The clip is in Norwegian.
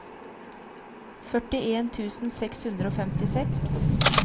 førtien tusen seks hundre og femtiseks